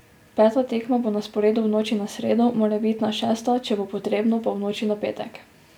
Peta tekma bo na sporedu v noči na sredo, morebitna šesta, če bo potrebno, pa v noči na petek.